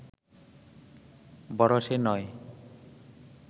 বড় সে নয়